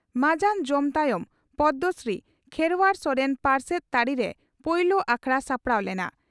ᱢᱟᱡᱟᱱ ᱡᱚᱢ ᱛᱟᱭᱚᱢ ᱯᱚᱫᱽᱢᱚᱥᱨᱤ ᱠᱷᱮᱨᱣᱟᱲ ᱥᱚᱨᱮᱱ ᱯᱟᱨᱥᱮᱛ ᱛᱟᱹᱨᱤᱨᱮ ᱯᱩᱭᱞᱩ ᱟᱠᱷᱲᱟ ᱥᱟᱯᱲᱟᱣ ᱞᱮᱱᱟ ᱾